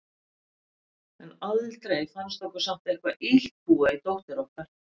En aldrei fannst okkur samt eitthvað illt búa í dóttur okkar.